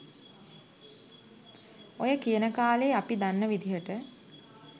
ඔය කියන කාලෙ අපි දන්න විදියට